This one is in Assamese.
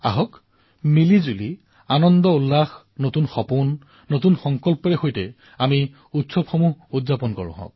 আহক মিলিজুলি উদ্দীপনাৰ সৈতে উৎসাহৰ সৈতে নতুন সপোন নতুন সংকল্পৰ সৈতে আমি উৎসৱসমূহ পালন কৰো